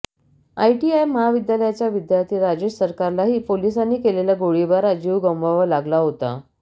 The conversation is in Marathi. आयटीआय महाविद्यालयाचा विद्यार्थ्यी राजेश सरकारलाही पोलिसांनी केलेल्या गोळीबारात जीव गमवावा लागला होता